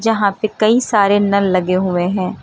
जहां पे कई सारे नल लगे हुए हैं।